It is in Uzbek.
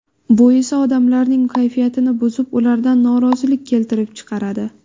Bu esa odamlarning kayfiyatini buzib, ularda norozilik keltirib chiqaradi.